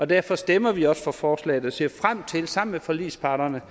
derfor stemmer vi også for forslaget og ser frem til sammen med forligsparterne